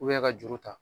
ka juru ta